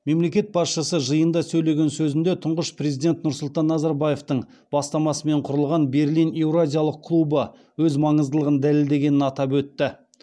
мемлекет басшысы жиында сөйлеген сөзінде тұңғыш президент нұрсұлтан назарбаевтың бастамасымен құрылған берлин еуразиялық клубы өз маңыздылығын дәлелдегенін атап өтті